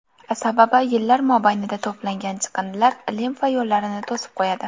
Sababi yillar mobaynida to‘plangan chiqindilar limfa yo‘llarini to‘sib qo‘yadi.